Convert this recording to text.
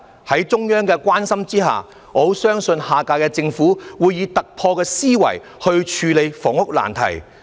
在中央的關心下，我相信下屆政府會以突破思維來處理房屋難題。